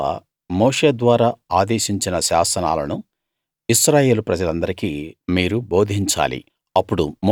యెహోవా మోషే ద్వారా ఆదేశించిన శాసనాలను ఇశ్రాయేలు ప్రజలందరికీ మీరు బోధించాలి